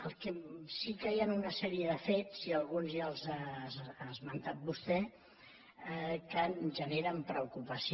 el que sí que hi han una sèrie de fets i alguns ja els ha esmentat vostè que em generen preocupació